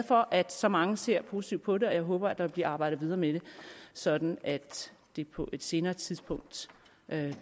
for at så mange ser positivt på det og jeg håber der vil blive arbejdet videre med det sådan at det på et senere tidspunkt